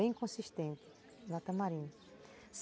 Bem consistente na tamarim.